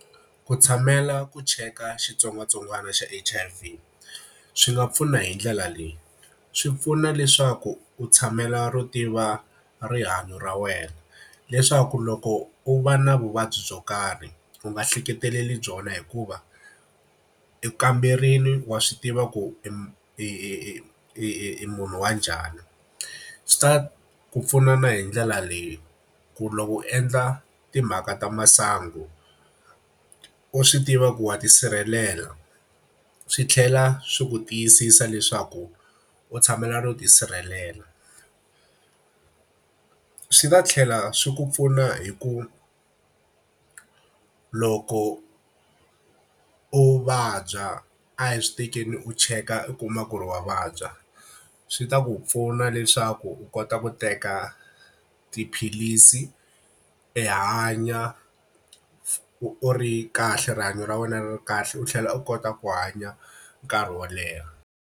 Ku tshamela ku cheka xitsongwatsongwana xa H_I_V swi nga pfuna hi ndlela leyi. Swi pfuna leswaku u tshamela ro tiva rihanyo ra wena, leswaku loko u va na vuvabyi byo karhi u nga ehleketeleli byona hikuva, u kamberile, wa swi tiva ku i i i i i munhu wa njhani. Swi ta ku pfuna na hi ndlela leyi, ku loko u endla timhaka ta masangu u swi tiva ku wa tisirhelela. Swi tlhela swi ku tiyisisa leswaku u tshamela ro tisirhelela. Swi ta tlhela swi ku pfuna hi ku loko u vabya, a hi swi tekeni u cheka u kuma ku ri wa vabya, swi ta ku pfuna leswaku u kota ku teka tiphilisi u hanya u ri kahle rihanyo ra wena ri kahle, u tlhela u kota ku hanya nkarhi wo leha.